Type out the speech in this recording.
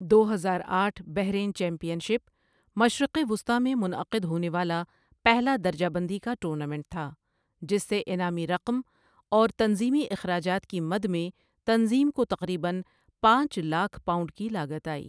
۔ دو ہزار آٹھ بحرین چیمپیئن شپ مشرق وسطیٰ میں منعقد ہونے والا پہلا درجہ بندی کا ٹورنامنٹ تھا، جس سے انعامی رقم اور تنظیمی اخراجات کی مد میں تنظیم کو تقریباً پانچ لاکھ پاؤنڈ کی لاگت آئی۔